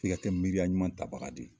Fi ka tɛ miriiya ɲuman tabaga de ye